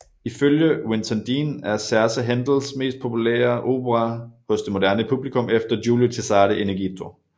Ifølge Winton Dean er Serse Händels mest populære opera hos det moderne publikum efter Giulio Cesare in Egitto